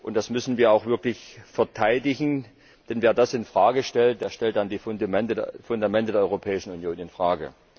Das müssen wir auch wirklich verteidigen, denn wer das infrage stellt, der stellt die Fundamente der Europäischen Union infrage.